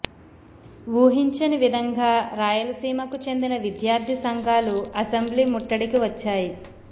ఊహించని విధంగా రాయలసీమకు చెందిన విద్యార్ధి సంఘాలు అసెంబ్లీ ముట్టడికి వచ్చాయి